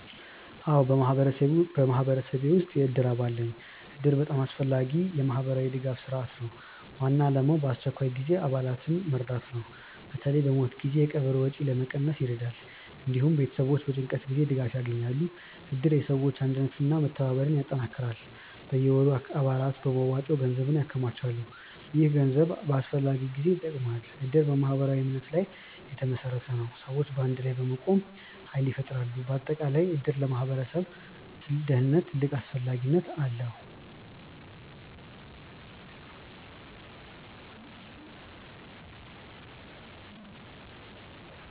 አዎን፣ በማህበረሰቤ ውስጥ የእድር አባል ነኝ እድር በጣም አስፈላጊ የማህበራዊ ድጋፍ ስርዓት ነው። ዋና ዓላማው በአስቸኳይ ጊዜ አባላትን መርዳት ነው። በተለይ በሞት ጊዜ የቀብር ወጪ ለመቀነስ ይረዳል። እንዲሁም ቤተሰቦች በጭንቀት ጊዜ ድጋፍ ያገኛሉ። እድር የሰዎች አንድነትን እና መተባበርን ያጠናክራል። በየወሩ አባላት በመዋጮ ገንዘብ ያከማቻሉ። ይህ ገንዘብ በአስፈላጊ ጊዜ ይጠቅማል። እድር በማህበራዊ እምነት ላይ የተመሰረተ ነው። ሰዎች በአንድ ላይ በመቆም ኃይል ይፈጥራሉ። በአጠቃላይ እድር ለማህበረሰብ ደህንነት ትልቅ አስፈላጊነት አለው።